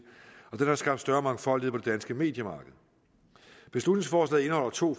og den har skabt større mangfoldighed på det danske mediemarked beslutningsforslaget indeholder to